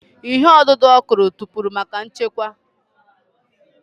Ìhè ọdụdụ Okoro kụpụrụ maka nchekwa.